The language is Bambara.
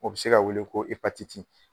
O bɛ se ka weele ko